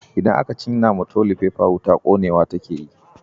idan aka cinna wa tolifefa wuta konewa take yi.